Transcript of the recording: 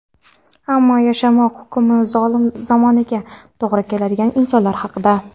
ammo yashamoq hukmi zolim zamonaga to‘g‘ri kelgan insonlar haqida.